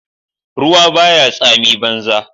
ruwa ba ya tsamin banza